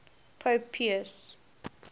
pope pius